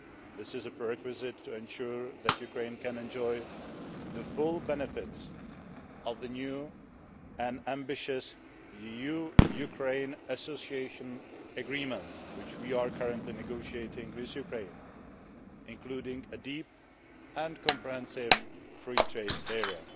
This is a prerequisite to ensure that Ukraine can enjoy the full benefits of the new and ambitious EU Ukraine association agreement which we are currently negotiating with Ukraine including a deep and comprehensive free trade